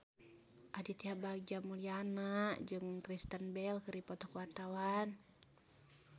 Aditya Bagja Mulyana jeung Kristen Bell keur dipoto ku wartawan